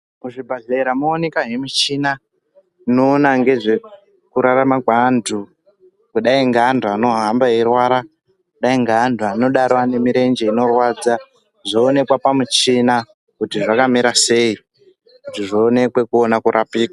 Muzvibhedhlera moonekazve muchina inoona ngezvekurarama kweantu kudai ngeantu anohamba eirwara kudai ngeantu anenge ane murenje inorwadza zvoonekwa pamuchina kuti zvakamira sei kuti zvionekwe kuona kurapika.